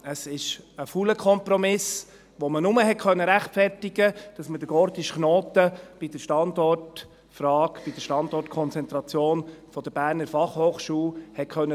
Es ist ein fauler Kompromiss, den man nur rechtfertigen konnte, damit man den gordischen Knoten bei der Standortfrage, bei der Standortkonzentration der BFH durchschneiden konnte.